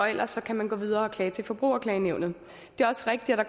ellers kan man gå videre og klage til forbrugerklagenævnet det er også rigtigt at